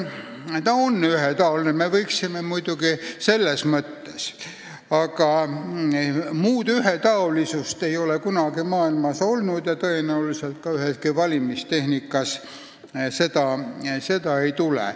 Ta on selles mõttes ühetaoline, muud ühetaolisust ei ole kunagi maailmas olnud ja tõenäoliselt üheski valimistehnikas seda ka ette ei tule.